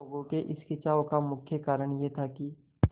लोगों के इस खिंचाव का मुख्य कारण यह था कि